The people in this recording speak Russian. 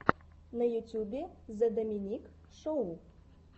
на ютьюбе зе доминик шоу